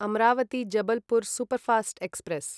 Amravati Jabalpur superfast express